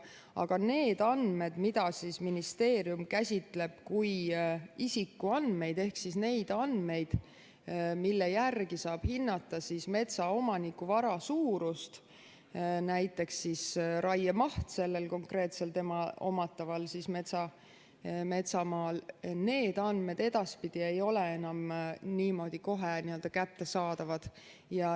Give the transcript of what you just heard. Aga need andmed, mida ministeerium käsitleb kui isikuandmeid ehk neid andmeid, mille järgi saab hinnata metsaomaniku vara suurust, näiteks raiemaht sellel konkreetsel tema omataval metsamaal, edaspidi ei ole enam niimoodi kohe kättesaadavad.